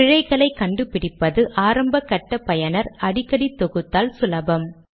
மீண்டும் எழுத்துரு அளவை 12 ஆக்கலாம்